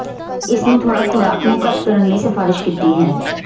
ਇਸ ਨੂੰ ਥੋੜ੍ਹਾ ਖੁਰਾਕ ਨੂੰ ਘੱਟ ਕਰਨ ਲਈ ਸਿਫਾਰਸ਼ ਕੀਤੀ ਹੈ